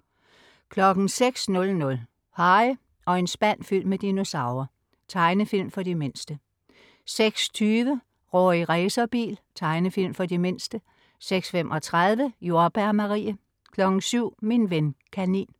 06.00 Harry og en spand fyldt med dinosaurer. Tegnefilm for de mindste 06.20 Rorri Racerbil. Tegnefilm for de mindste 06.35 Jordbær Marie 07.00 Min ven kanin